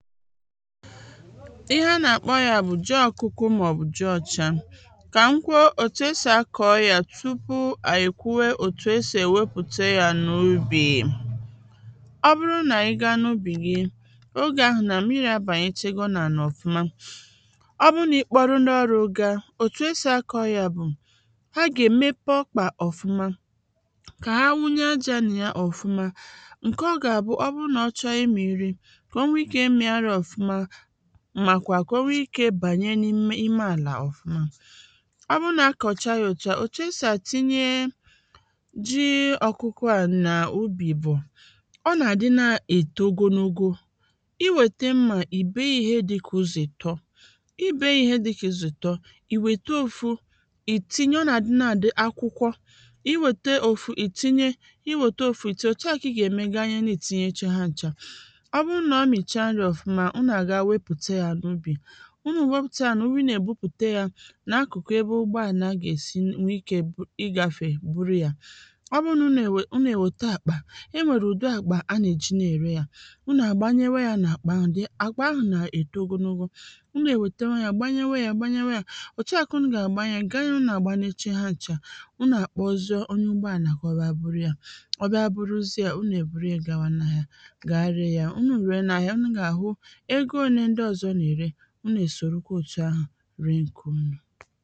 ihe ha nà-akpọ yā bụ̀ ji ọkụkụ màọ̀bụ̀ ji ọ̄chā kà m kwuo òtù esì akọ̄ yà tupu ànyị̀ èkwuwe òtù esì èwepùte yā n’ubì ọ bụrụ nà ị ga n’ubì gị ogè ahụ̀ nà mmirī abànyechego n’ànà ọ̀fụma ọ bụrụ nà ị kpọrọ ndị ọrụ̄ ga,̄ òtù esì akọ̄ yà bụ̀ ha gà-èmepu ọkpà ọ̀fụma kà ha nwunye ajā nà ya ọ̀fụma ǹkè ọ gà-àbụ ọ bụrụ nà ọ chọrọ ịmị̀ nri kà o nwe ikē ịmị̄hārị̄ ọ̀fụma màkwà kà o nwe ikē bànye n’ime ime àlà ọ̀fụma ọ bụrụ nà ha kọ̀cha yā òtu à òtù esì àtinye ji ọ̀kụkọ à n’ubì bụ̀ ọ nà-àdị na-èto ogonogo ị nwète mmà ị̀ bèe yā ihe dị̄ka ụzọ̀ ị̀tọ ị bèe yā ihe dị̄kà ụzọ̀ ị̀tọ ị̀ ŋʷète ōfū ị̀ tinye ọ nà-àdị na-àdị akwụkwọ, ị wète ōfū ị̀ tinye ị wète ōfū ị̀ tinye òtù ahụ̀ kà ị gà-ème ganyena ị̀ tinyecha ha n̄chā ọ bụrụ nà ọ mị̀cha nrī ọ̀fụma ụnụ̀ àga wepùte yā n’ubì ụnụ̀ wepùte yā n’ūbī ụnụ̀ èbupùte yā n’akụ̀kụ̀ ebe ụgbọ àna gà-èsi wee ikē ịgāfè buru yà ọ bụrụ nà ụnụ̀ ènwè ụnụ̀ ènwèta àkpà enwèrè ụ̀dị àkpà ha nà-èji na-ème yā ụnụ̀ àgbanyewe yā nà-àkpà ahụ̀, àkpà ahụ̀ nà-èto ogonogo ụnụ̀ ènwètewe yā gbanyewe yā gbanyewe yā, òtu à kà ụnụ̀ gà àgbanye yā ganye ụnụ̀ àgbanyecha ha n̄chā ụnụ̀ àkpọzie onye ụgbọ ànà kà ọ bịa buru yā ọ bịa buruzie yā ụnụ̀ èburu yā gawa n’ahịa ga ree yā, ụnụ̀ ruo n’ahịa ụnụ̀ gà-àhụ ego ōnē ndị ọ̄zọ̄ nà-ère ụnụ̀ èsòrokwa òtù ahụ̀ ree ǹkè ụnụ̀